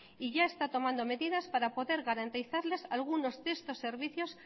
y ya está tomando medidas para poder garantizarles algunos de estos servicios